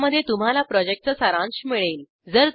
ज्यामध्ये तुम्हाला प्रॉजेक्टचा सारांश मिळेल